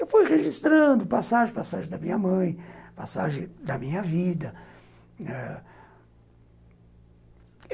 Eu fui registrando passagem, passagem da minha mãe, passagem da minha vida ãh